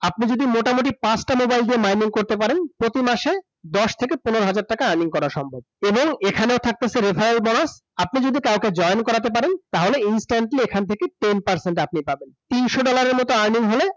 আপনি যদি মোটামুটি পাঁচটা mobile দিয়ে mining করতে পারেন প্রতি মাসে দশ থেকে পনের হাজার টাকা earning করা সম্ভব এবং এখানেও থাকতেসে referral bonus । আপনি যদি কাউকে join করাতে পারেন তাহলে instantly এখান থেকে ten percent আপনি পাবেন । তিনশো dollar এর মত earning হলে